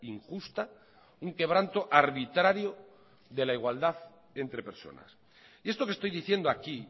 injusta un quebranto arbitrario de la igualdad entre personas y esto que estoy diciendo aquí